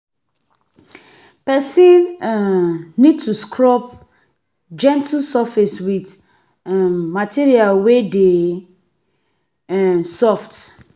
Person um need to scrub gentle surface with um material wey dey um soft